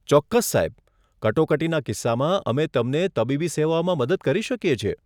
ચોક્કસ, સાહેબ. કટોકટીના કિસ્સામાં અમે તમને તબીબી સેવાઓમાં મદદ કરી શકીએ છીએ.